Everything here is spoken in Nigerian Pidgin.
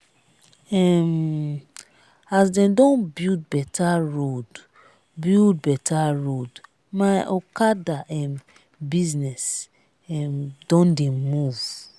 um as dem don build beta road build beta road my okada um business um don dey move.